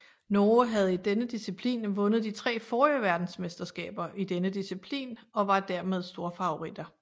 Norge havde i denne disciplin vundet de tre forrige verdensmesterskaber i denne disciplin og var dermed storfavoritter